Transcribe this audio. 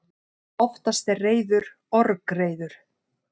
Oftast er reiður orgreiður.